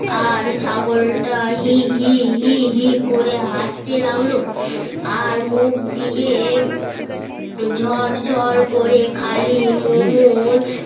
আর ছাগল্টা হি হি হি হি করে হাস্তে লাগলো আর মুখ দিয়ে ঝরঝর করে খালি মোহর